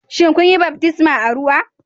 Shin kun yi baftisma ta ruwa